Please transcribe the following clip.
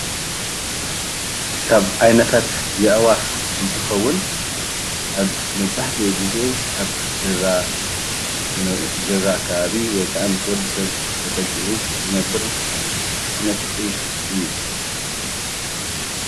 ካብ ዓይነታት ኣዕዋፍ እንትኸውን ኣብ መብዛሕትኡ ግዜ ኣብ ከባቢ ገዛ ዝነብር ዓይነት ዒፍ እዩ።